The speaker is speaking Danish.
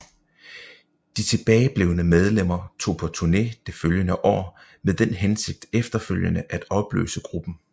De tilbageblevne medlemmer tog på turné det følgende år med den hensigt efterfølgende at opløse gruppen